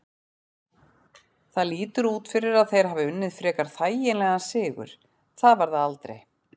Það lítur út fyrir að þeir hafi unnið frekar þægilegan sigur, það var það aldrei.